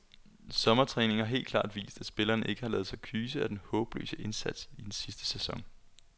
Sommertræningen har helt klart vist, at spillerne ikke har ladet sig kyse af den håbløse indsats i sidste sæson.